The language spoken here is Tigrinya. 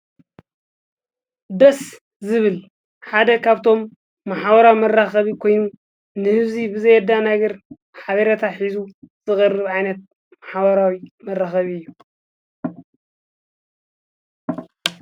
ደስ ዝብል ሓደ ኻብቶም መሓዋራ መራኸቢ ኮይ፤ ንሕዙይ ብዘየዳናግር ኃበረታ ኂዙ ዝቕርብዓይነት መሓዋራዊ መረኸቢ እዩ።